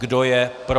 Kdo je pro?